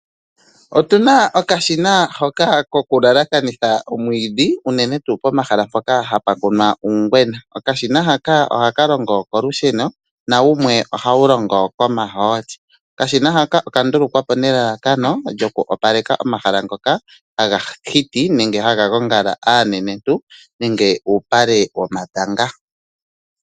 Otuna okashina hoka koku lalakanitha omwiidhi unene tuu pomahala mpoka hapu kunwa uungwena. Okashina haka ohaka longo kolusheno nawumwe ohawu longo komahooli. Okashina haka oka ndulukwapo nelalakano lyoku opaleka omahala ngoka haga hiti nenge haga gongala aanenentu nenge uupale womatanga.